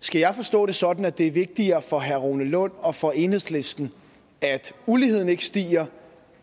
skal jeg forstå det sådan at det er vigtigere for herre rune lund og for enhedslisten at uligheden ikke stiger